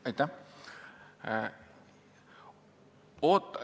Aitäh!